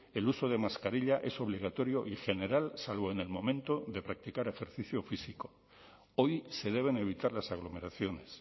el uso de mascarilla es obligatorio y general salvo en el momento de practicar ejercicio físico hoy se deben evitar las aglomeraciones